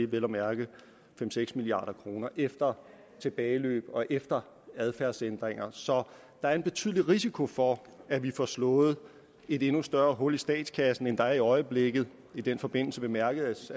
vel at mærke fem seks milliard kroner efter tilbageløb og efter adfærdsændringer så der er en betydelig risiko for at vi får slået et endnu større hul i statskassen end der er i øjeblikket og i den forbindelse bemærkes